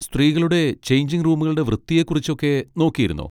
സ്ത്രീകളുടെ ചെയ്ഞ്ചിങ് റൂമുകളുടെ വൃത്തിയെ കുറിച്ചൊക്കെ നോക്കിയിരുന്നോ?